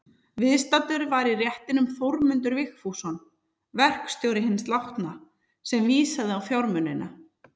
Viðstaddur var í réttinum Þórmundur Vigfússon, verkstjóri hins látna, sem vísaði á fjármunina.